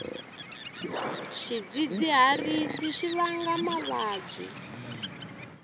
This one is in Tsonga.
swidzidziharisi swi vanga mavabyi